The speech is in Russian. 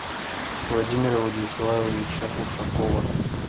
владимира владиславовича ушакова